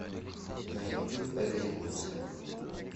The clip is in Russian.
на ютуб экзекуция